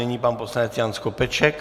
Nyní pan poslanec Jan Skopeček.